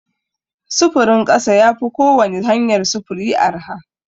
Sufurin ƙasa ya fi kowani hanyar sufuri arha.